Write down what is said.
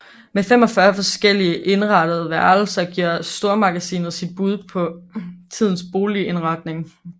Med 45 forskellige indrettede værelser giver stormagasinet sit bud på tidens boligindretning